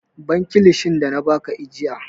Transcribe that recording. Ban kilishin da na ba ka ajiya!